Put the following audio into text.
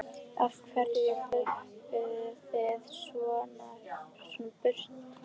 Af hverju hlaupið þið þá svona í burtu?